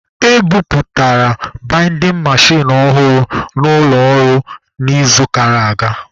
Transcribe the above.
E bubatara baidin mechin ọhụrụ n'ụlọ ọrụ n'izuụka gara aga.